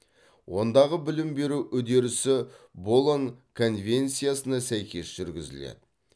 ондағы білім беру үдерісі болон конвенциясына сәйкес жүргізіледі